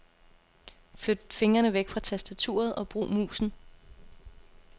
Flyt fingrene væk fra tastaturet og brug musen.